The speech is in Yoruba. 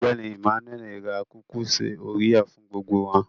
Ọgbẹ́ni Emmanuel rà kúkúṣí oréà fún gbogbo wà.